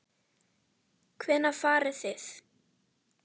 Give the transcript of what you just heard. Hvenær farið þið?